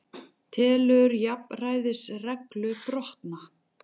Telur jafnræðisreglu brotna